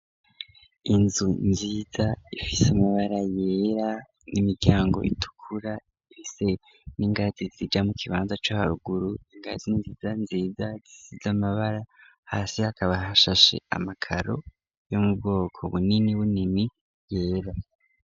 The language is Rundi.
Inzu nziza ifise amabara yera n'imiryango itukura ifise n'ingazi zija mu kibanza co haruguru ingazi inziza nziza zisize amabara hasi akaba hashashe amakaro yo mu bwoko bunini bunini yera.